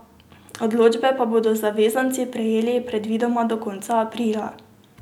Odločbe pa bodo zavezanci prejeli predvidoma do konca aprila.